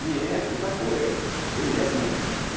не не такое железное